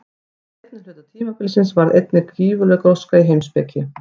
Á seinni hluta tímabilsins varð einnig gífurleg gróska í heimspeki.